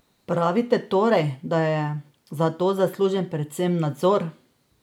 Pravite torej, da je za to zaslužen predvsem nadzor?